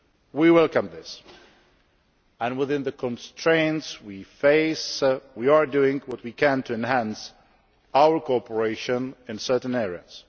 We welcome this and, within the constraints we face, we are doing what we can to enhance our cooperation in certain areas.